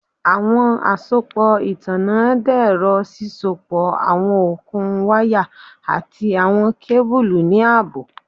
Awọn asopọ itanna dẹrọ sisopọ awọn okun waya ati awọn kebulu ni aabo